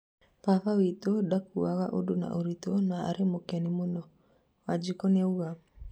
baba witũ ndakuaga ũndũ na ũritũ na arĩ mũkeni mũno," Wanjiku niauga